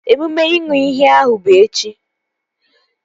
Emume ịṅụ iyi ahụ bụ echi